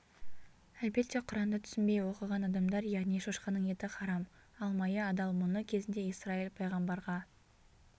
әлбетте құранды түсінбей оқыған адамдар яғни шошқаның еті харам ал майы адал мұны кезінде исраиль пайғамбарға